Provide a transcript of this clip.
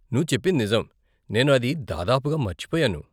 నువ్వు చెప్పింది నిజం, నేను అది దాదాపుగా మర్చిపోయాను.